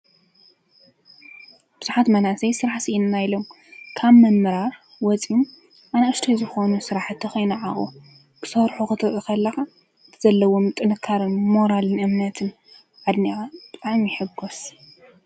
ብዝሓት መናሰይ ሥራሕ ስኢን ናይሎም ካብ ምምራር ወፂኡም ኣናእሽተይ ዝኾኑ ሥራሕ ተኸይነዓቑ ብሠርኁ ኽተዑኸለኻ ተዘለውም ጥንካርን ሞራልን እምነትን ኣድኒኣ ጥዕም ይሕጐስ::